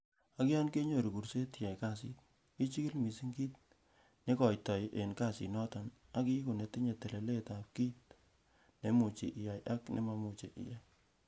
Ak yon keinyoru kuurset iyai kasit, ichigil missing kit neigoitoi en kasinoton ak iigu netinye telelet en kit neimuche iyai ak nememuche iyai.